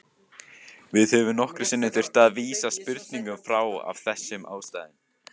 Við höfum nokkrum sinnum þurft að vísa spurningum frá af þessum ástæðum.